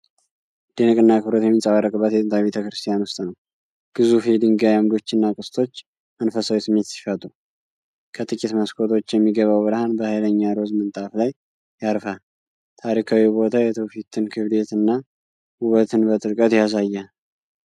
መደነቅና አክብሮት የሚንጸባረቅበት የጥንታዊ ቤተ ክርስቲያን ውስጥ ነው። ግዙፍ የድንጋይ አምዶችና ቅስቶች መንፈሳዊ ስሜት ሲፈጥሩ፣ ከጥቂት መስኮቶች የሚገባው ብርሃን በሃይለኛ ሮዝ ምንጣፍ ላይ ያርፋል። ታሪካዊው ቦታ የትውፊትን ክብደትና ውበትን በጥልቀት ያሳያል።